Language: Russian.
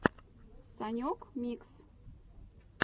санек микс